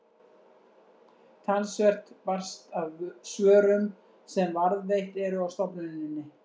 talsvert barst af svörum sem varðveitt eru á stofnuninni